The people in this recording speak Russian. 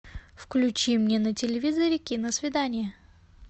включи мне на телевизоре киносвидание